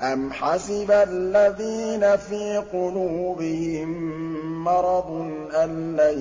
أَمْ حَسِبَ الَّذِينَ فِي قُلُوبِهِم مَّرَضٌ أَن لَّن